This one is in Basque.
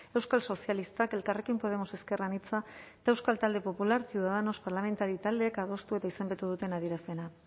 euskal sozialistak elkarrekin podemos ezker anitza eta euskal talde popular ciudadanos parlamentari taldeek adostu eta izendatu duten adierazpena